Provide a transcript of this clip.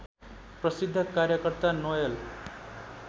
प्रसिद्ध कार्यकर्ता नोएल